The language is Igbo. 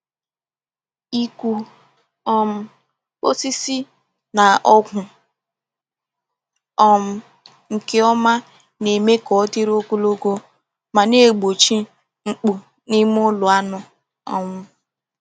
Ịkụ um osisi na ọgwụ um nke ọma na-eme ka ọ dịrị ogologo ma na-egbochi mkpu n'ime ụlọ anụ. um